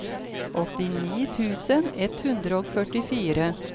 åttini tusen ett hundre og førtifire